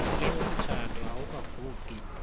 umhle umtsha awukagugi